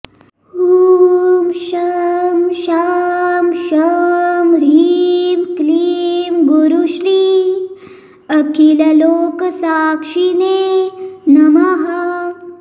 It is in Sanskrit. ॐ शं शां षं ह्रीं क्लीं गुरुश्री अखिललोकसाक्षिणे नमः